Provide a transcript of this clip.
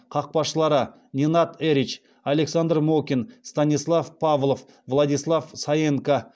қақпашылар ненад эрич александр мокин станислав павлов владислав саенко